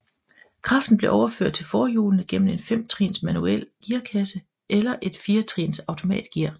Kraften blev overført til forhjulene gennem en femtrins manuel gearkasse eller et firetrins automatgear